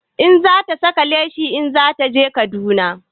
Za ta saka leshi in zata je Kaduna